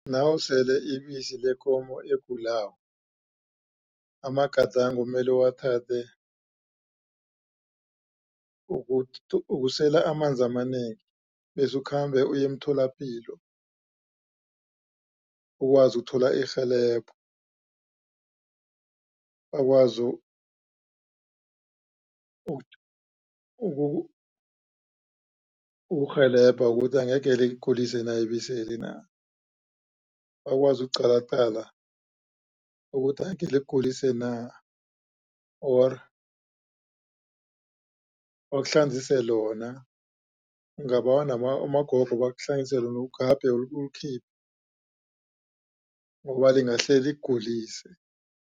Nawusele ibisi lekomo egulako amagadango mele uwathathe ukusela amanzi amanengi bese ukhambe uye emtholapilo ukwazi ukuthola irhelebho bakwazi ukukurhelebha ukuthi angeke likugulise na ibiseli na bakwazi ukukuqalaqala ukuthi angekhe likugulise na or bakuhlanzise lona ungabawa nabomagogo bakuhlanzise ugabhe ulikhiphe ngoba lingahle likugulise.